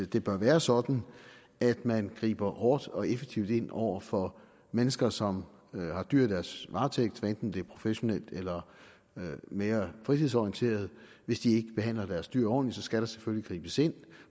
det bør være sådan at man griber hårdt og effektivt ind over for mennesker som har dyr i deres varetægt hvad enten det er professionelt eller mere fritidsorienteret hvis de ikke behandler deres dyr ordentligt skal der selvfølgelig gribes ind